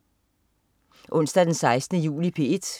Onsdag den 16. juli - P1: